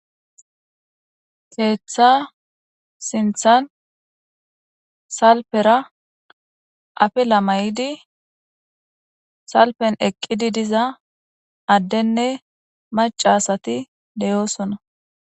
Keeththa sinthan salpera afe lamay7idi salpen eqqidi diza addenne macasati deyoosona.